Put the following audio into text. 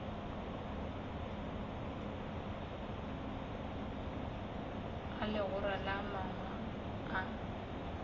a legora la mangwalo a